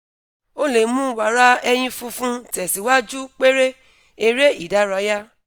o le mu wara ẹyin funfun tesiwaju pere ere idaraya